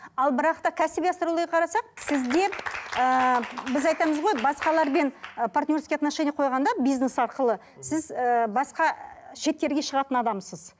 ал бірақ та кәсіби астрологияға қарасақ сізде ііі біз айтамыз ғой басқалармен ы партнерский отношениеге қойғанда бизнес арқылы сіз ыыы басқа шеттерге шығатын адамсыз